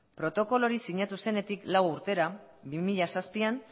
protokolo hori sinatu zenetik lau urtera bi mila zazpian